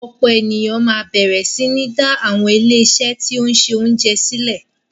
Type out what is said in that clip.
Ọ̀pọ̀ ènìyàn máa bẹ̀rẹ̀ sí ní dá àwọn ilé-iṣé tí ó ń ṣe oúnjẹ sílẹ̀.